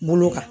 Bolo kan